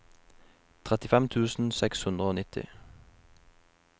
trettifem tusen seks hundre og nitti